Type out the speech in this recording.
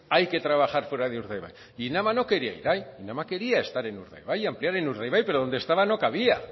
hay que trabajar fuera de urdaibai e inama no quería ir ahí inama quería estar en urdaibai ampliar en urdaibai pero donde estaba no cabía